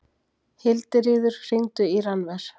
Hildiríður, hringdu í Rannver.